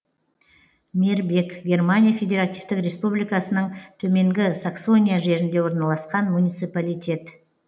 мербек германия федеративтік республикасының төменгі саксония жерінде орналасқан муниципалитет